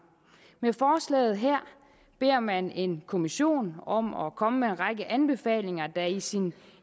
med forslaget her beder man en kommission om at komme med en række anbefalinger der i sin